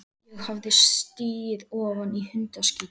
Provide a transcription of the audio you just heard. Ég hafði stigið ofan í hundaskít.